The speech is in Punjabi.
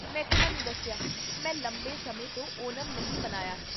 ਮੈਂ ਤੁਹਾਨੂੰ ਦੱਸਿਆ, ਮੈਂ ਲੰਬੇ ਸਮੇਂ ਤੋਂ ਓਨਮ ਨਹੀਂ ਮਨਾਇਆ ਹੈ